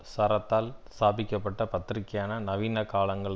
சார்த்தரால் ஸ்தாபிக்க பட்ட பத்திரிக்கையான நவீன காலங்கள்